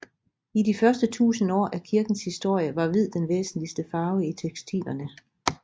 I de første tusind år af kirkens historie var hvid den væsentligste farve i tekstilerne